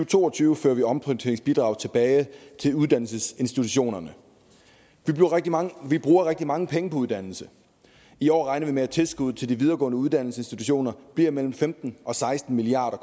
to og tyve fører vi omprioriteringsbidraget tilbage til uddannelsesinstitutionerne vi bruger rigtig mange penge på uddannelse i år regner vi med at tilskuddet til de videregående uddannelsesinstitutioner bliver mellem femten og seksten milliard